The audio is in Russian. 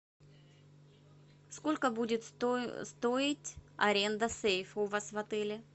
сколько будет стоить аренда сейфа у вас в отеле